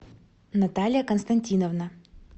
наталья константиновна